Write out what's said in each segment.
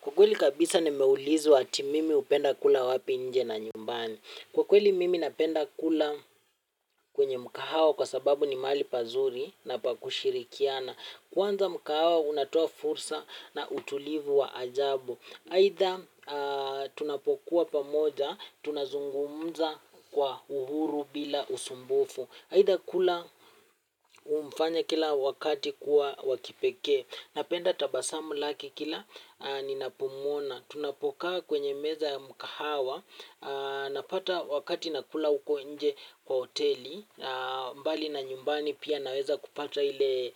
Kwa kweli kabisa ni meulizi ati mimi upenda kula wapi nje na nyumbani. Kwa kweli mimi napenda kula kwenye mkahao kwa sababu ni mali pazuri na pa kushirikiana. Kwanza mkahao unatoa fursa na utulivu wa ajabu. Haitha tunapokuwa pamoja, tunazungumza kwa uhuru bila usumbufu. Haitha kula umfanya kila wakati kuwa wakipeke. Napenda tabasamu laki kila ninapumona. Tunapokaa kwenye meza ya mkahawa, napata wakati nakula uko inje kwa oteli, mbali na nyumbani pia naweza kupata ile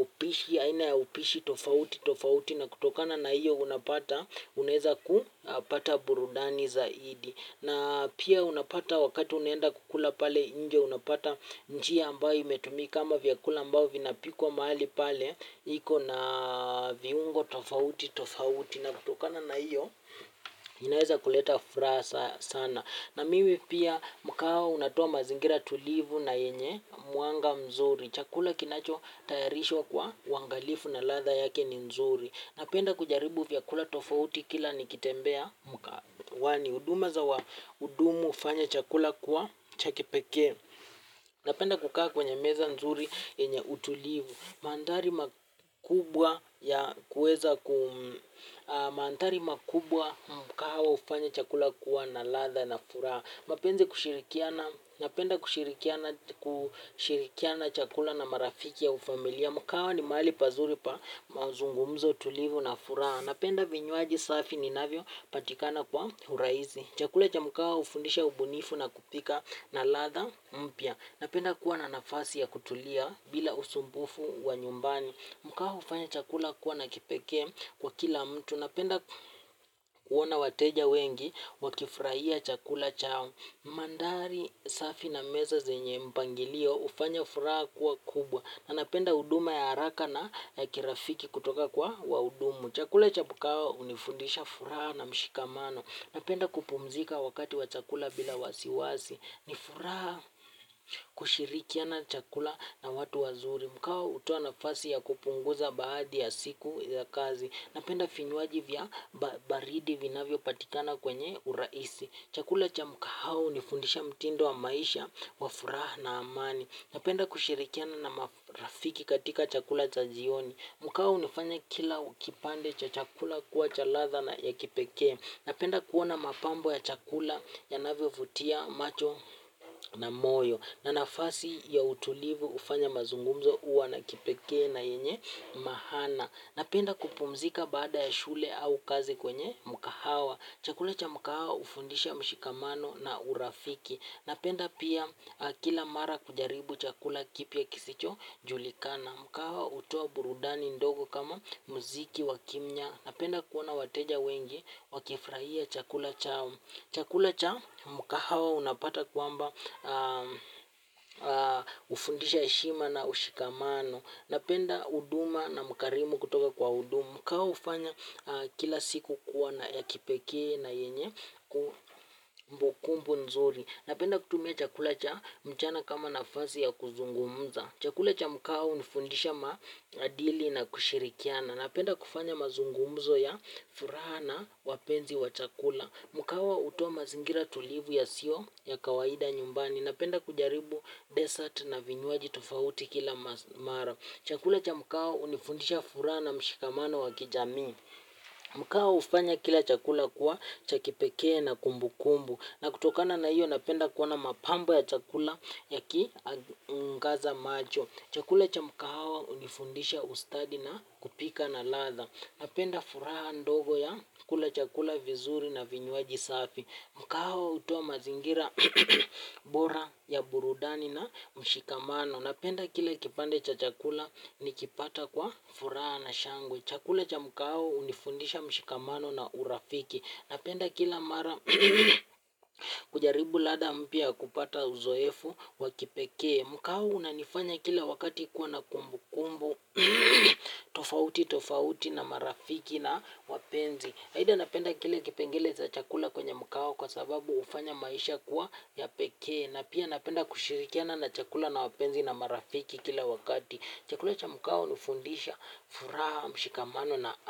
upishi, aina upishi tofauti tofauti na kutokana na iyo unapata, uneza kupata burudani zaidi. Na pia unapata wakati unenda kukula pale inje unapata nchi ya ambayo imetumi kama vyakula ambayo vinapikuwa mahali pale. Iko na viungo tofauti tofauti na kutokana na iyo inaweza kuleta frasa sana. Na mimi pia mkawa unatua mazingira tulivu na yenye muanga mzuri. Chakula kinacho tayarishwa kwa wangalifu na latha yake ni mzuri. Napenda kujaribu vyakula tofauti kila nikitembea mkawani. Uduma za wa udumu ufanya chakula kuwa chakipeke napenda kukaa kwenye meza nzuri yenye utulivu mandhari makubwa ya kuweza mandari makubwa mkawa ufanya chakula kuwa na latha na furaha napenda kushirikiana chakula na marafiki ya ufamilia. Mkawa ni mali pazuri pa mazungumzo tulivu na furaha. Napenda vinyuaji safi ninavyo patikana kwa huraizi. Chakule cha mkawa ufundisha ubunifu na kupika na latha mpia. Napenda kuwa na nafasi ya kutulia bila usumbufu wa nyumbani. Mkawa ufanya chakula kuwa na kipeke kwa kila mtu. Napenda kuona wateja wengi wakifurahia chakula chao. Mandari safi na meza zenye mpangilio ufanya furaha kuwa kubwa. Napenda uduma ya haraka na kirafiki kutoka kwa waudumu. Chakula cha mkau unifundisha furaha na mshikamano. Napenda kupumzika wakati wa chakula bila wasiwasi. Nifuraha kushirikiana chakula na watu wazuri. Mkau utoanafasi ya kupunguza baadi ya siku ya kazi. Napenda finyuwaji vya baridi vinavyo patikana kwenye uraisi. Chakula cha mkau hunifundisha mtindo wa maisha wa furaha na amani. Napenda kushirikiana na marafiki katika chakula cha jioni. Mukahau unifanya kila kipande cha chakula kuwa chalatha na ya kipeke. Napenda kuona mapambo ya chakula ya navio vutia macho na moyo. Na nafasi ya utulivu hufanya mazungumuzo uwa na kipekee na yenye maana. Napenda kupumzika bada ya shule au kazi kwenye mukahau. Chakula cha mkahawa ufundisha mshikamano na urafiki. Napenda pia kila mara kujaribu chakula kipia kisicho julikana. Mkahawa utoa burudani ndogo kama mziki wakimnya. Napenda kuona wateja wengi wakifraia chakula chao. Chakula cha mkahawa unapata kuamba ufundisha heshima na ushikamano. Napenda uduma na mkarimu kutoka kwa udumu. Mkawa ufanya kila siku kuwa na ya kipeke na yenye kumbu kumbu nzuri. Napenda kutumia chakula cha mchana kama nafazi ya kuzungumza. Chakula cha mkawa unifundisha madili na kushirikiana. Napenda kufanya mazungumzo ya furana wapenzi wa chakula. Mkawa utowa mazingira tulivu ya sio ya kawaida nyumbani. Napenda kujaribu desert na vinyuaji tofauti kila mara. Chakula cha mkawa unifundisha fura na mshikamano wa kijami. Mkawa ufanya kila chakula kuwa chakipekee na kumbu kumbu. Na kutokana na hiyo napenda kuwana mapamba ya chakula ya ki ngaza macho. Chakula cha mkawa unifundisha ustadi na kupika na latha. Napenda fura ndogo ya kula chakula vizuri na vinyuaji safi. Mkawo utowa mazingira bora ya burudani na mshikamano. Napenda kila kipande cha chakula nikipata kwa fura na shangwe. Chakula cha mkawo unifundisha mshikamano na urafiki. Napenda kila mara kujaribu lada mpia kupata uzoefu wakipekee. Mkawo unanifanya kila wakati kuwa na kumbu kumbu. Tofauti tofauti na marafiki na wapenzi haida napenda kile kipengele za chakula kwenye mkawo kwa sababu ufanya maisha kuwa ya pekee na pia napenda kushirikiana na chakula na wapenzi na marafiki kila wakati. Chakula cha mkahawa hunifundisha furaha mshikamano na.